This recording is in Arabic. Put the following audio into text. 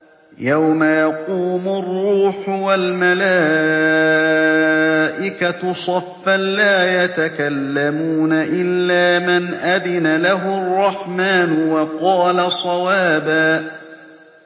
يَوْمَ يَقُومُ الرُّوحُ وَالْمَلَائِكَةُ صَفًّا ۖ لَّا يَتَكَلَّمُونَ إِلَّا مَنْ أَذِنَ لَهُ الرَّحْمَٰنُ وَقَالَ صَوَابًا